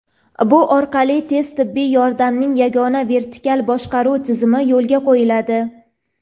Bu orqali tez tibbiy yordamning yagona vertikal boshqaruv tizimi yo‘lga qo‘yiladi.